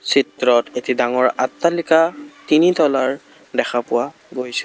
চিত্ৰত এটি ডাঙৰ আট্টালিকা তিনি তলাৰ দেখা পোৱা গৈছে।